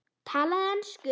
Talaðu ensku!